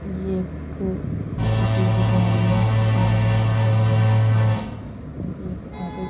ये एक तस्वीर दिखा रही है इस तस्वीर में दिख रहा है कि एक ऑटो --